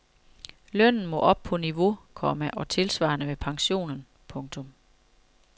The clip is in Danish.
Lønnen må op på niveau, komma og tilsvarende med pensionen. punktum